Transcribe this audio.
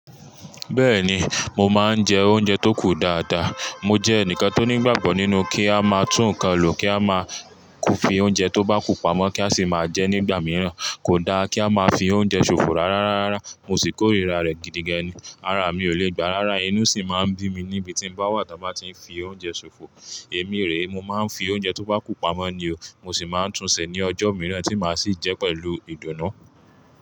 Bẹ́ẹ̀ni, mo máa ń jẹ oúnjẹ tó kù dáadáa. Mo jẹ́ ẹnìkan tó nígbàgbọ́ nínú kí a máa tún ǹkan lò, kí a máa kò fi oúnjẹ tó bá kù pamọ́ kí a sì máa jẹ nígbà mìíràn. Kò dá kí a máa fi oúnjẹ ṣòfò rárá, rárá, mo sì korira rẹ̀ gidigan ni. Rárá, mi ò lè gbà, rárá inú sì máa ń bí mi níbi tí mo bá wà tí a bá ti fi oúnjẹ ṣòfò. Èmi rèé, mo máa ń fi oúnjẹ tó bá kù pamọ́ ni o. Mo sì máa ń tun ṣe ní ọjọ́ mìíràn tí màá sì jẹ pẹ̀lú ìdùnnú.